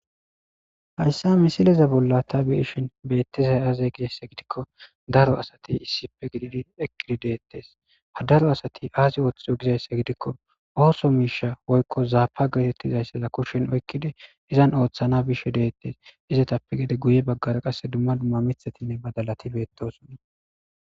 Haaysa misileza bola ta beishshen betizayi aze gikko daaro assati issippe gididi eqqi deththes ha daaro assati azzi oththidso gidiza giddikko oso miishsha woyko zappa geeththetidaysa kushshen oyiqqidi izan oththana bishshe dethes izappe gede guye bagaara qasse dumma dumma miththatinne baadalaththi beththosona.